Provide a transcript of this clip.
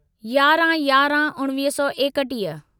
यारहं यारहं उणिवीह सौ एकटीह